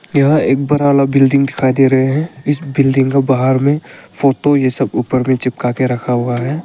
यह एक बड़ा वाला बिल्डिंग दिखाई दे रहा है इस बिल्डिंग के बाहर में फोटो जैसा ऊपर में चिपक कर रखा हुआ है।